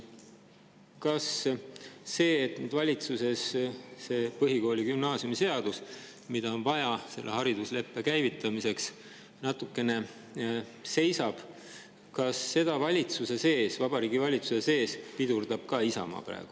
Kas seda, et see põhikooli- ja gümnaasiumiseadus, mida on vaja selle haridusleppe käivitamiseks, valitsuses natukene seisab, pidurdab ka Isamaa praegu Vabariigi Valitsuse sees?